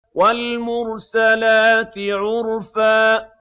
وَالْمُرْسَلَاتِ عُرْفًا